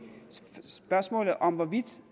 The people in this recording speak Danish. spørgsmålet om hvorvidt